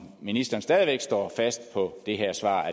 ministeren stadig væk står fast på det her svar